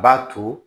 B'a to